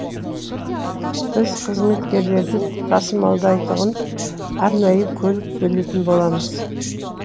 біз қызметкерлерді тасымалдайтын арнайы көлік бөлетін боламыз